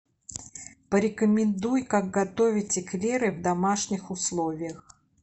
порекомендуй как готовить эклеры в домашних условиях